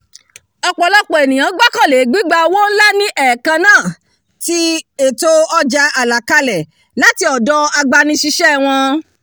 ọ̀pọ̀lọpọ̀ ènìyàn gbọ́kànlé gbigba owó ńlá ní ẹ̀ẹ̀kanna ti ètò ọjà àlàkalẹ̀ láti ọ̀dọ̀ agbanisíṣẹ́ wọn tàbí